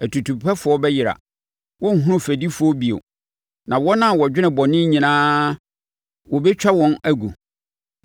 Atutupɛfoɔ bɛyera, wɔrenhunu fɛdifoɔ bio, na wɔn a wɔdwene bɔne nyinaa wɔbɛtwa wɔn agu.